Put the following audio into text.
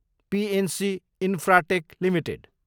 PNC Infratech Ltd